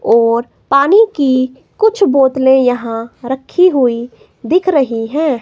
और पानी की कुछ बोतले यहां रखी हुई दिख रही हैं।